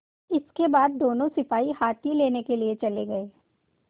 इसके बाद दोनों सिपाही हाथी लेने के लिए चले गए